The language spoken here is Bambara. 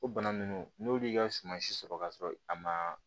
O bana ninnu n'olu ka suman si sɔrɔ ka sɔrɔ a ma